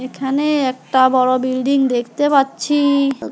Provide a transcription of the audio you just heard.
এখানে একটা বড় বিল্ডিং দেখতে পাচ্ছি।